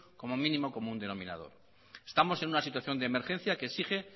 como mínimo común denominador estamos en una situación de emergencia que exige